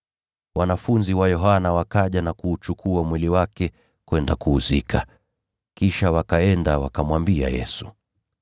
Wanafunzi wa Yohana wakaja na kuuchukua mwili wake kwenda kuuzika. Kisha wakaenda wakamwambia Yesu.